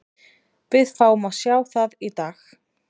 Við fáum að sjá það í dag.